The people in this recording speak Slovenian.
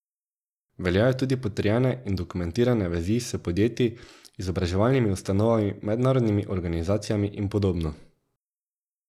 Veljajo tudi potrjene in dokumentirane vezi s podjetji, izobraževalnimi ustanovami, mednarodnimi organizacijami in podobno.